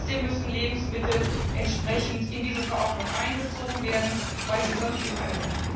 Trotzdem müssen Lebensmittel entsprechend in diese Verordnung einbezogen werden, weil sie sonst in einem